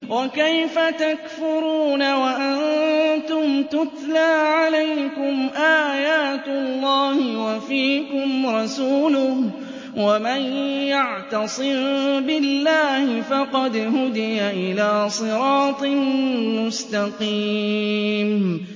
وَكَيْفَ تَكْفُرُونَ وَأَنتُمْ تُتْلَىٰ عَلَيْكُمْ آيَاتُ اللَّهِ وَفِيكُمْ رَسُولُهُ ۗ وَمَن يَعْتَصِم بِاللَّهِ فَقَدْ هُدِيَ إِلَىٰ صِرَاطٍ مُّسْتَقِيمٍ